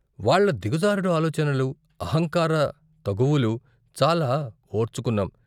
వాళ్ళ దిగజారుడు ఆలోచనలు, అహంకార తగువులు, చాలా ఓర్చుకున్నాం.